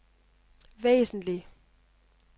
væsentlig